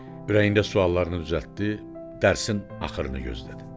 Ürəyində suallarını düzəltdi, dərsin axırını gözlədi.